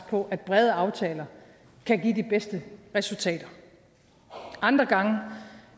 på at brede aftaler kan give de bedste resultater andre gange